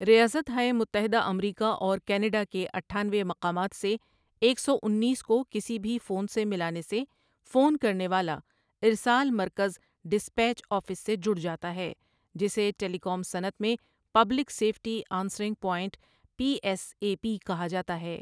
ریاست ہائے متحدہ امریکا اور کینیڈا کے اٹھآنوے مقامات سے ایک سو انیس کو کسی بھی فون سے ملانے سے فون کرنے والا ارسال مرکز ڈِسپیچ آفس سے جڑ جاتا ہے جسے ٹیلی کام صنعت میں public safety answering point P S A P کہا جاتا ہے ۔